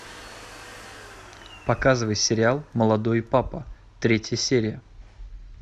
показывай сериал молодой папа третья серия